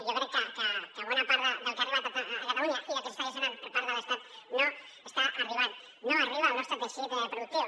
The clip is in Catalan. jo crec que bona part del que ha arribat a catalunya i del que s’està gestionant per part de l’estat no està arribant no arriba al nostre teixit productiu